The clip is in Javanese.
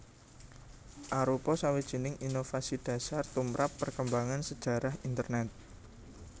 arupa sawijining inovasi dhasar tumrap perkembangan sajarah Internèt